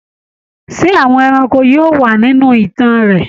Ṣé àwọn ẹranko yóò wà nínú ìtàn rẹ?